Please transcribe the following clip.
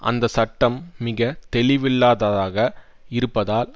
அந்த சட்டம் மிக தெளிவில்லாததாக இருப்பதால்